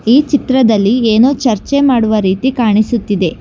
ಈ ಚಿತ್ರದಲ್ಲಿ ಏನೋ ಚರ್ಚೆ ಮಾಡುವ ರೀತಿ ಕಾಣಿಸುತ್ತಿದೆ.